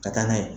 Ka taa n'a ye